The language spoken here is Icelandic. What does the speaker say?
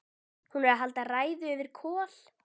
Hún er að halda ræðu yfir Kol